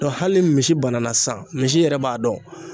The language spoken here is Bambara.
hali ni misi bana na sisan, misi yɛrɛ b'a dɔn.